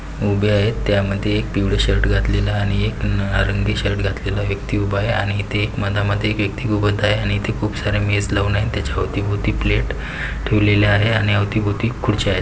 उभे आहे त्यामध्ये एक पिवळ शर्ट घातलेला आणि एक निळा रंगी शर्ट घातलेला व्यक्ति उभा आहे आणि इथ एक मधामधी एक व्यक्ति आहे आणि इथ खूपसारे मेस लावून आहेत त्याच्या अवती-भवती प्लेट ठेवलेल्या आहे आणि अवती-भवती खुर्च्या आहेत.